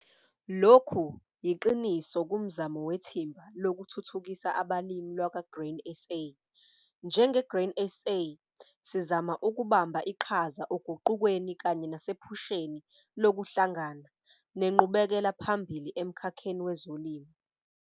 Lokhu yiqiniso kumzamo wethimba lokuThuthukisa abaLimi lakwa-Grain SA. Njenge-Grain SA, sizama ukubamba iqhaza oguqukweni kanye nasephusheni lokuhlangana, nenqubekela phambili emkhakheni wezolimo.